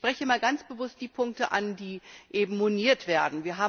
Ich spreche einmal ganz bewusst die Punkte an, die moniert werden.